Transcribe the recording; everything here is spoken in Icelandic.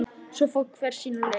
Svo fór hver sína leið.